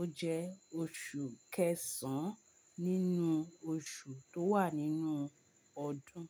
Ó jẹ́ oṣù kẹsàn-án nínú oṣù tó wà nínú ọdún.